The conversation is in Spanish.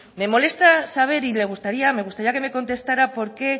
me molesta saber y me gustaría que me contestara por qué